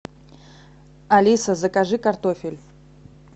алиса закажи картофель